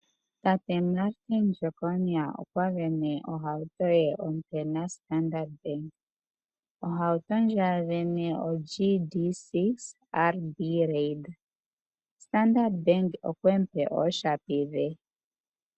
Tate Martin Jeckonia okwa sindana ohauto naStandard Bank . Ohauto ndjono asindana oGD-6 RB Raider . Standard Bank okwemu pe ooshapi dhe.